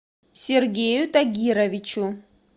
сергею тагировичу